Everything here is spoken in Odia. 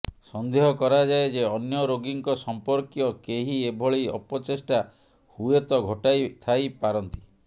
ସନ୍ଦେହ କରାଯାଏ ଯେ ଅନ୍ୟ ରୋଗୀଙ୍କ ସମ୍ପର୍କୀୟ କେହି ଏଭଳି ଅପଚେଷ୍ଟା ହୁଏତ ଘଟାଇ ଥାଇ ପାରନ୍ତି